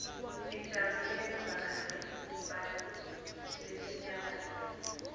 dijarulela burqarinebantfu lesinyabati